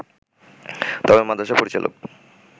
তবে মাদ্রাসার পরিচালক